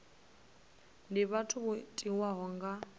ndi vhathu vho tiwaho nga